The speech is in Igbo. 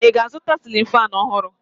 Ị ga-azụta sịlịn faanụ ọhụrụ?